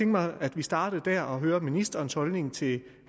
mig at vi startede der og hørte ministerens holdning til